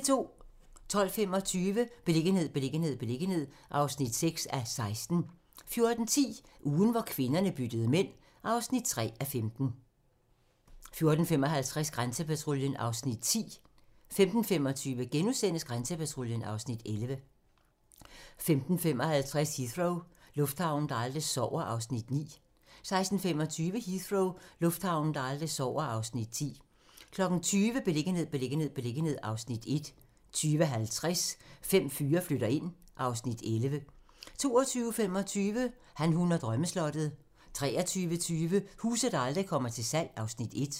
12:25: Beliggenhed, beliggenhed, beliggenhed (6:16) 14:10: Ugen hvor kvinderne byttede mænd (3:15) 14:55: Grænsepatruljen (Afs. 10) 15:25: Grænsepatruljen (Afs. 11)* 15:55: Heathrow - lufthavnen, der aldrig sover (Afs. 9) 16:25: Heathrow - lufthavnen, der aldrig sover (Afs. 10) 20:00: Beliggenhed, beliggenhed, beliggenhed (Afs. 1) 20:50: Fem fyre flytter ind (Afs. 11) 22:25: Han, hun og drømmeslottet 23:20: Huse, der aldrig kommer til salg (Afs. 1)